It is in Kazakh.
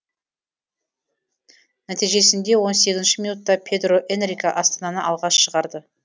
нәтижесінде он сегізінші минутта педро энрике астананы алға шығарды